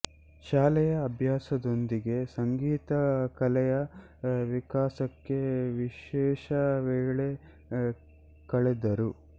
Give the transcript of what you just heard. ಶಾಲೆಯ ಅಭ್ಯಾಸದೊಂದಿಗೆ ಸಂಗೀತ ಕಲೆಯ ವಿಕಾಸಕ್ಕೆ ವಿಶೇಷ ವೇಳೆ ಕಳೆದರು